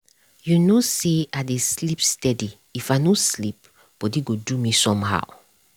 you know say i dey sleep steady if i no sleep body go do me some how.